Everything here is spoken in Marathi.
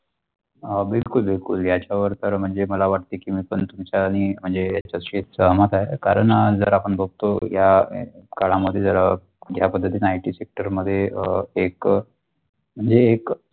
बिलकुल बिलकुल त्यावर तर म्हणजे मला वाटते की मी पण तुमचा आणि म्हणजे तसेच सहमत आहते कारण जर आपण बगतो या काळामध्ये जर या पद्धतीत नाही जर की sector मध्ये अ एक जे एक.